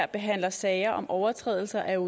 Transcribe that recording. behandler sager om overtrædelse af